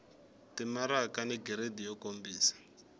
timaraka ni giridi yo kombisa